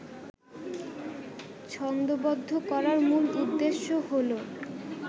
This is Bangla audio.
ছন্দোবদ্ধ করার মূল উদ্দেশ্য হলো